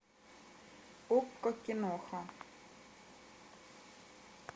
окко киноха